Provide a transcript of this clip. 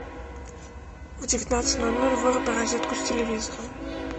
в девятнадцать ноль ноль выруби розетку с телевизором